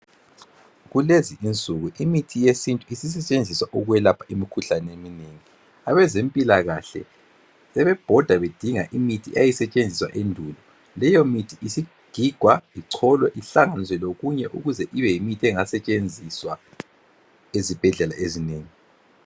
Kulezinsuku imithi yesintu isisetshenziswa ukwelapha imikhuhlane eminengi abezempilakahle sebebhoda bedinga imithi eyayisetshenziswa endulo leyo mithi isigigwa icholiwe ihlanganisiwe lokunye ukuze ibeyimithi engasetshenziswa ezibhedlela ezinengi.